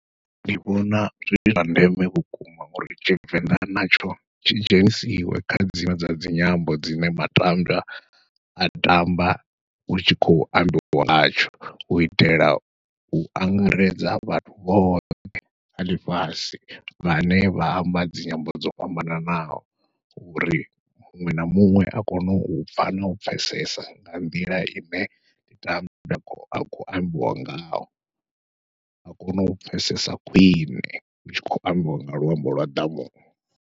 Ndi vhona zwi zwa ndeme vhukuma uri tshivenḓa natsho tshi dzhenisiwe kha dziṅwe dza dzinyambo dzine matambwa a tamba, hutshi khou ambiwa ngatsho u itela u angaredza vhathu vhoṱhe vha ḽifhasi vhane vha amba dzinyambo dzo fhambananaho, uri muṅwe na muṅwe a kone u pfha nau pfhesesa nga nḓila ine ndi tamba ha khou ambiwa ngayo, a kone u pfhesesa khwiṋe hutshi khou ambiwa nga luambo lwa ḓamuni.